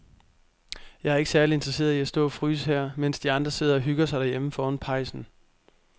Jeg er ikke særlig interesseret i at stå og fryse her, mens de andre sidder og hygger sig derhjemme foran pejsen.